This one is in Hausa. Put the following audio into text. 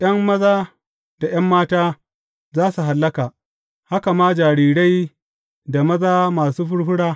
’Yan maza da ’yan mata za su hallaka, haka ma jarirai da maza masu furfura.